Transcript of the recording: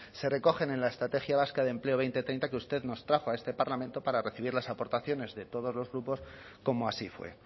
se recogen en la estrategia vasca de empleo dos mil treinta que usted nos trajo a este parlamento para recibir las aportaciones de todos los grupos como así fue